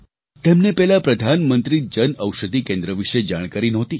તેમને પહેલાં પ્રધાનમંત્રી જનઔષધિ કેન્દ્ર વિશે જાણકારી નહોતી